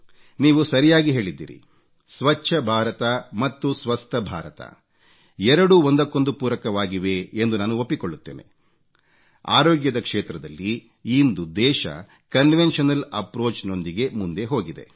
ನೀವು ಸರಿಯಾಗಿ ಹೇಳಿದ್ದೀರಿ ಸ್ವಚ್ಚ ಭಾರತ ಮತ್ತು ಸ್ವಸ್ಥ ಭಾರತ ಎರಡೂ ಒಂದಕ್ಕೊಂದು ಪೂರಕವಾಗಿವೆ ಎಂದು ನಾನು ಒಪ್ಪಿಕೊಳ್ಳುತ್ತೇನೆ ಆರೋಗ್ಯದ ಕ್ಷೇತ್ರದಲ್ಲಿ ಇಂದು ದೇಶ ಕನ್ವೆನ್ಷನಲ್ ಅಪ್ರೋಚ್ ನೊಂದಿಗೆ ಮುಂದೆ ಹೋಗಿದೆ